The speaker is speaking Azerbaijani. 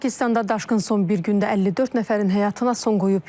Pakistanda daşqın son bir gündə 54 nəfərin həyatına son qoyub.